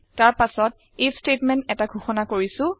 তাৰ পাছত if statement এটা ঘোষণা কৰিছো